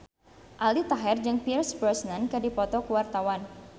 Aldi Taher jeung Pierce Brosnan keur dipoto ku wartawan